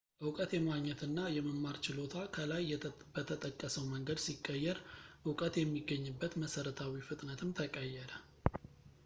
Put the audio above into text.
ዕውቀት የማግኘት እና የማማር ችሎታ ከላይ በተጠቀሰው መንገድ ሲቀየር ዕውቀት የሚገኝበት መሰረታዊ ፍጥነትም ተቀየረ